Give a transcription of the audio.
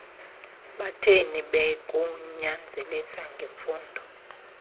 batheni bekunyanzelisa ngemfundo